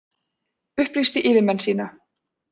Upplýsti yfirmenn sína